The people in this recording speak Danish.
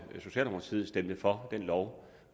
socialdemokratiet stemte for den lov